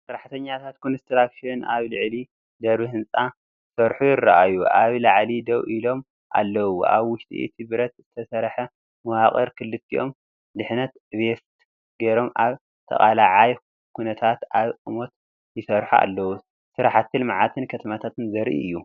ሰራሕተኛታት ኮንስትራክሽን ኣብ ልዑል ደርቢ ህንጻ ክሰርሑ ይረኣዩ። ኣብ ላዕሊ ደው ኢሎም ኣለዉ። ኣብ ውሽጢ እቲ ብረት ዝሰርሕ መዋቕር ክልቲኦም ድሕነት ቬስት ገይሮም ኣብ ተቓላዓይ ኩነታት ኣብ ቁመት ይሰርሑ ኣለዉ። ስራሕቲ ልምዓትን ከተማታት ዘርኢ እዩ።